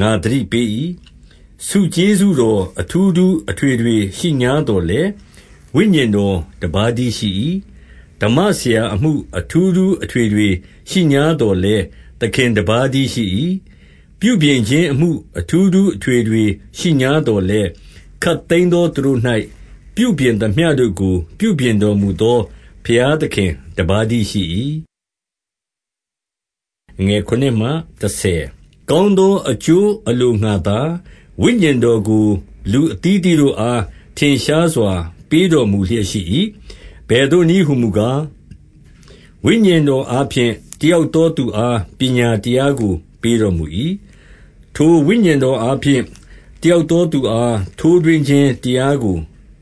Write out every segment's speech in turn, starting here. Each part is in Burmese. ငါသတိပေး၏။ 4 ဆုကျေးဇူးတော် အထူးထူးအထွေထွေ ရှိငြားသော်လည်း ဝိညာဉ်တော်တပါးတည်း ရှိ၏။ 5 ဓမ္မဆရာအမှု အထူးထူးအထွေထွေရှိငြားသော်လည်း သခင်တပါးတည်းရှိ၏။ 6 ပြုပြင်ခြင်းအမှု အထူးထူးအထွေထွေရှိငြားသော်လည်း၊ ခပ်သိမ်းသော သူတို့၌ ပြုပြင်သမျှကို ပြုပြင် တော်မူသော ဘုရားသခင်တပါးတည်းရှိ၏။ 7 ကောင်းသောအကျိုးအလိုငှါသာ ဝိညာဉ်တော်ကို လူအသီးအသီးတို့အား ထင်ရှားစွာ ပေးတော်မူလျက် ရှိ၏။ 8 အဘယ်သို့နည်းဟူမူကား၊ ဝိညာဉ်တော်အားဖြင့် တယောက်သောသူအား ပညာတရားကို ပေးတော်မူ၏။ ထိုဝိညာဉ်တော်အားဖြင့် တယောက်သော သူအား ထိုးထွင်းခြင်းတရားကို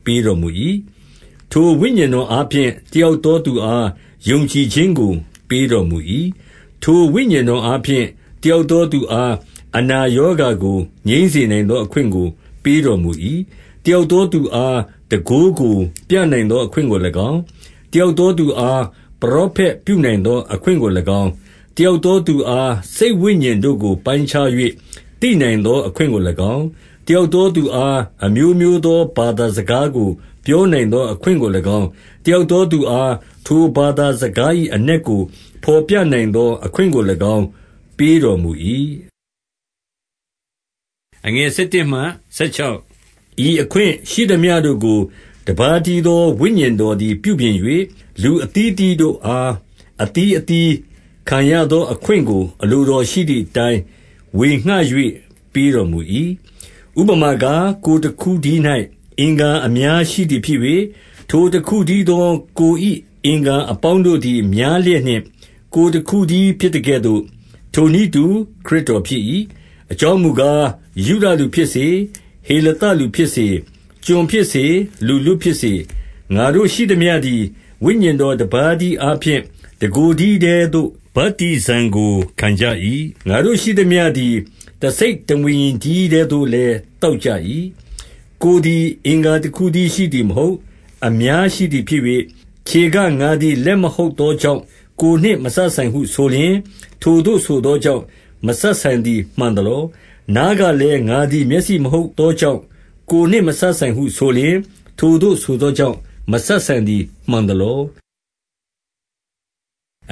ပေးတော်မူ၏။ 9 ထိုဝိညာဉ်တော်အားဖြင့် တယောက်သော သူအား ယုံကြည်ခြင်းကို ပေးတော်မူ၏။ ထိုဝိညာဉ်တော် အားဖြင့် တယောက်သောသူအား အနာရောဂါကို ငြိမ်းစေနိုင်သောအခွင့်ကို ပေးတော်မူ၏။ 10 တယောက်သောသူအား၊ တန်ခိုးကိုပြနိုင်သော အခွင့်ကို၎င်း၊ တယောက်သောသူအား ပရောဖက်ပြုနိုင်သော အခွင့်ကို၎င်း၊ တယောက်သောသူအား စိတ်ဝိညာဉ် တို့ကို ပိုင်းခြား၍သိနိုင်သော အခွင့်ကို၎င်း၊ တယောက်သောသူအား အမျိုးမျိုးသော ဘာသာစကားကို ပြောနိုင်သော အခွင့်ကို၎င်း တယောက်သောသူအား ထိုဘာသာ စကား၏အနက်ကို ဖော်ပြနိုင်သော အခွင့်ကို၎င်း ပေးတော်မူ၏။ 11 ဤအခွင့်ရှိသမျှတို့ကို တပါးတည်းသော ဝိညာဉ်တော်သည် ပြုပြင်၍ လူအသီးအသီးတို့အား အသီးအသီး ခံရသောအခွင့်ကို အလိုတော်ရှိသည်အတိုင်း ဝေငှ၍ ပေးတော်မူ၏။ 12 ဥပမာကား၊ ကိုယ်တခုတည်း၌ အင်္ဂါအများရှိသည်ဖြစ်၍ ထိုတခုတည်းသောကိုယ်အင်္ဂါ အပေါင်းတို့ သည် များလျက်နှင့် ကိုယ်တခုတည်းဖြစ်သကဲ့သို့၊ ထိုနည်းတူ ခရစ်တော်ဖြစ်၏။ 13 အကြောင်းမူကား၊ ယုဒလူဖြစ်စေ၊ ဟေလသလူဖြစ်စေ၊ ကျွန်ဖြစ်စေ၊ လူလွတ်ဖြစ်စေ၊ ငါတို့ရှိသမျှသည် ဝိညာဉ်တော်တပါးတည်းအားဖြင့် တကိုယ်တည်းထဲသို့ ဗတ္တိဇံကိုခံကြ၏။ ငါတို့ရှိသမျှသည် တစိတ် တဝိညာဉ် တည်းထဲသို့လည်း သောက်ကြ၏။ 14 ကိုယ်သည် အင်္ဂါတခုတည်းရှိသည်မဟုတ်၊ အများရှိသည်ဖြစ်၍၊ 15 ခြေက၊ ငါသည်လက်မဟုတ်သောကြောင့် ကိုယ်နှင့်မစပ်ဆိုင်ဟုဆိုလျှင်၊ ထိုသို့ဆိုသောကြောင့် မစပ်ဆိုင်သည် မှန်သလော။ 16 နားကလည်း၊ ငါသည် မျက်စိမဟုတ်သောကြောင့် ကိုယ်နှင့် မစပ်ဆိုင်ဟုဆိုလျှင်၊ ထိုသို့ ဆိုသော ကြောင့် မစပ်ဆိုင်သည် မှန်သလော။ 17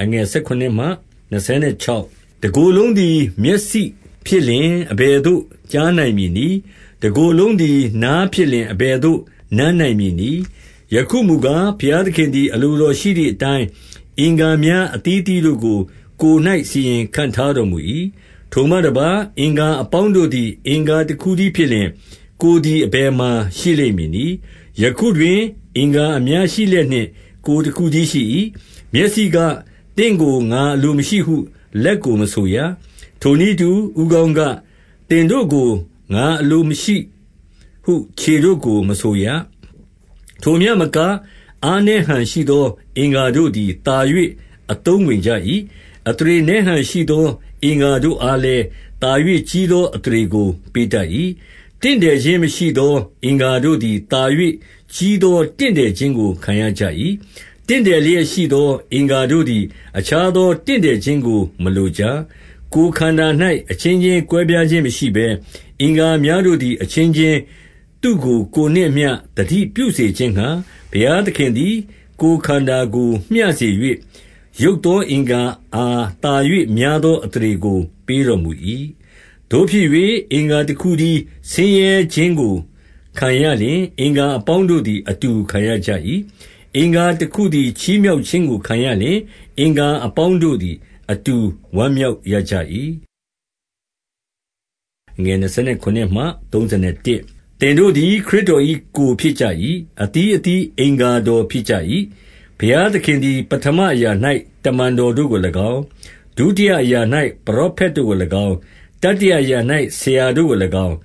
တကိုယ်လုံးသည် မျက်စိဖြစ်လျှင် အဘယ်သို့ ကြားနိုင်မည်နည်း။ တကိုယ်လုံးသည် နားဖြစ်လျှင် အဘယ်သို့ နမ်းနိုင်မည်နည်း။ 18 ယခုမူကား၊ ဘုရားသခင်သည် အလိုတော်ရှိ သည်အတိုင်း အင်္ဂါများအသီးသီးတို့ကို ကိုယ်၌စီရင် ခန့်ထားတော်မူ၏။ 19 ထိုမှတပါး၊ အင်္ဂါအပေါင်းတို့သည် အင်္ဂါတခုတည်းဖြစ်လျှင် ကိုယ်သည်အဘယ်မှာ ရှိလိမ့်မည်နည်း။ 20 ယခုတွင် အင်္ဂါအများရှိလျက်နှင့် ကိုယ်တခုတည်း ရှိ၏။ 21 မျက်စီက၊ သင့်ကိုငါအလိုမရှိဟု လက်ကို မဆိုရ။ ထိုနည်းတူ၊ ဦးခေါင်းက၊ သင်တို့ကိုငါအလိုမရှိဟု ခြေတို့ကို မဆိုရ။ ထိုမျှမက အားနည်းဟန်ရှိသော အင်္ဂါတို့သည် သာ၍အသုံးဝင်ကြ၏။ 22 အသရေနည်းဟန်ရှိသော အင်္ဂါတို့အားလည်း၊ သာ၍ကြီးသော အသရေကို ပေးတတ်၏။ 23 တင့်တယ်ခြင်းမရှိသော အင်္ဂါတို့သည် သာ၍ ကြီးသော တင့်တယ်ခြင်းကို ခံရကြ၏။ 24 တင့်တယ်လျက်ရှိသော အင်္ဂါတို့သည် အခြားသော တင့်တယ်ခြင်းကို မလိုကြ။ 25 ကိုယ်ခန္ဓာ၌ အချင်းချင်းကွဲပြားခြင်းမရှိဘဲ၊ အင်္ဂါများတို့သည် အချင်းချင်း သူ့ကို ကိုယ်နှင့်အမျှ သတိပြုစေခြင်းငှါ၊ ဘုရားသခင်သည် ကိုယ်ခန္ဓာကိုမျှစေ၍၊ ယုတ်သောအင်္ဂါအား သာ၍များသော အသရေကို ပေးတော်မူ၏။ 26 သို့ဖြစ်၍၊ အင်္ဂါတခုတည်း ဆင်းရဲခြင်းကို ခံရလျှင်၊ အင်္ဂါအပေါင်းတို့သည် အတူခံရကြ၏။ အင်္ဂါ တခုသည် ချီးမြှောက်ခြင်းကို ခံရလျှင်၊ အင်္ဂါအပေါင်းတို့သည် အတူဝမ်းမြောက်ရကြ၏။ 27 သင်တို့သည် ခရစ်တော်၏ ကိုယ်ဖြစ်ကြ၏။ အသီးအသီး အင်္ဂါတော်ဖြစ်ကြ၏။ 28 ဘုရားသခင်သည်ပဌမအရာ၌ တမန်တော်တို့ကို၎င်း၊ ဒုတိယအရာ၌ ပရောဖက်တို့ကို၎င်း၊ တတိယ အရာ၌ ဆရာတို့ကို၎င်း၊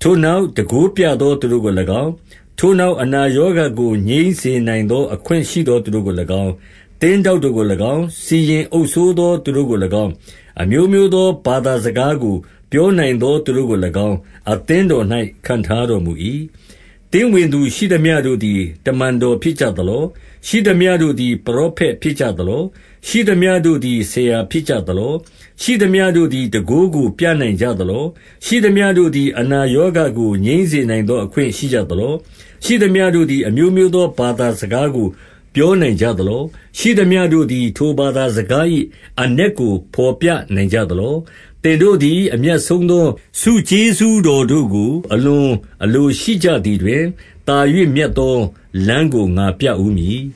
ထိုနောက် တန်ခိုးပြသော သူတို့ကို၎င်း၊ ထိုနောက်အနာရောဂါကို ငြိမ်းစေနိုင်သော အခွင့်ရှိသောသူတို့ကို၎င်း၊ သင်းထောက်တို့ကို၎င်း၊ စီရင် အုပ်စိုးသော သူတို့ကို၎င်း၊ အမျိုးမျိုးသော ဘာသာစကား ကိုပြောနိုင်သော သူတို့ကို၎င်း၊ အသင်းတော်၌ ခန့်ထားတော်မူ၏။ 29 သင်းဝင်သူ ရှိသမျှတို့သည် တမန်တော်ဖြစ်ကြ သလော။ ရှိသမျှတို့သည် ပရောဖက်ဖြစ်ကြသလော။ ရှိသမျှတို့သည် ဆရာဖြစ်ကြသလော။ ရှိသမျှတို့သည် ဘုန်းတန်ခိုးကို ပြနိုင်ကြသလော။ 30 ရှိသမျှတို့သည် အနာရောဂါကို ငြိမ်းစေနိုင်သော အခွင့်ရှိကြသလော။ ရှိသမျှတို့သည် အမျိုးမျိုးသော ဘာသာစကားကို ပြောနိုင်ကြသလော။ ရှိသမျှတို့သည် ထိုဘာသာစကား၏ အနက်ကို ဘော်ပြနိုင်ကြသလော။ 31 သင်တို့သည် အမြတ်ဆုံးသော ဆုကျေးဇူးတော်တို့ကို အလွန်အလိုရှိကြသည်တွင်၊ သာ၍မြတ်သော လမ်းကိုငါပြဦးမည်